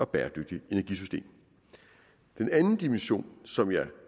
bæredygtigt energisystem den anden dimension som jeg